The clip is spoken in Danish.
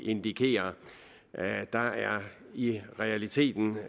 indikere der er i realiteten